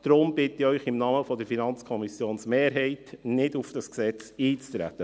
Deshalb bitte ich Sie im Namen der FiKo-Mehrheit, nicht auf dieses Gesetz einzutreten.